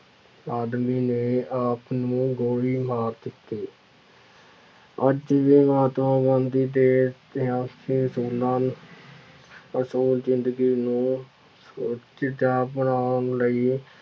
ਆਦਮੀ ਨੇ ਆਪ ਨੂੰ ਗੋਲੀ ਮਾਰ ਦਿੱਤੀ ਅੱਜ ਵੀ ਮਹਾਤਮਾ ਗਾਂਧੀ ਦੇ ਅਸੂਲ ਜ਼ਿੰਦਗੀ ਨੂੰ ਬਣਾਉਣ ਲਈ